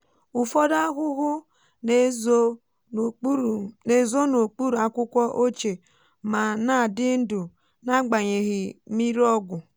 ufodu ahụhụ na-ezo n'okpuru akwụkwọ ochie ma na-adị ndụ nagbanyeghi mmiri ọgwụ.